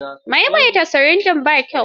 Maimaita sirinji ba kyau.